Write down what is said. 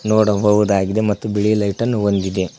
ನೋಡಬಹುದಾಗಿದೆ ಮತ್ತು ಬಿಳಿ ಲೈಟನ್ನು ಹೊಂದಿದೆ.